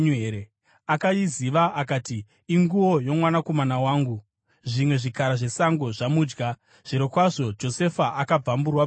Akaiziva akati, “Inguo yomwanakomana wangu! Zvimwe zvikara zvesango zvamudya. Zvirokwazvo Josefa akabvamburwa-bvamburwa.”